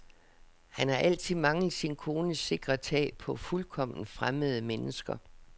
Han har altid manglet sin kones sikre tag på fuldkomment fremmede mennesker.